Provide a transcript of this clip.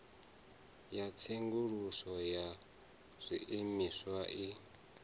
ya tsenguluso ya zwiimiswa i